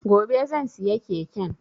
Gobe zan siya keken